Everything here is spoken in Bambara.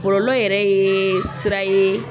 bɔlɔlɔ yɛrɛ ye sira ye